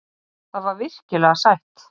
Það var virkilega sætt.